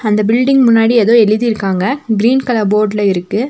இந்த பில்டிங் முன்னாடி ஏதோ எழுதிருக்காங்க கிரீன் கலர் போர்டுல இருக்கு.